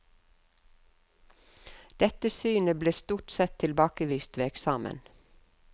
Dette synet ble stort sett tilbakevist ved eksamen.